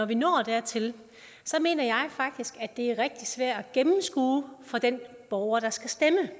vi når dertil mener jeg faktisk at det er rigtig svært at gennemskue for den borger der skal stemme